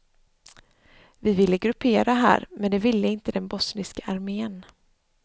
Vi ville gruppera här, men det ville inte den bosniska armén.